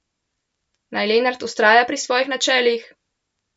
Naj Lenart vztraja pri svojih načelih?